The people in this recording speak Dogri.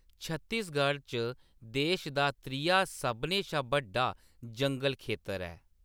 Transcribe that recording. छत्तीसगढ़ च देश दा त्रीया सभनें शा बड्डा जंगल खेतर ऐ।